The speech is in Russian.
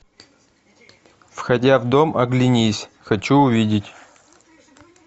входя в дом оглянись хочу увидеть